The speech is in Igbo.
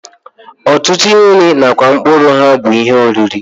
Ọtụtụ akwụkwọ nri nakwa mkpụrụ ha bụ ihe oriri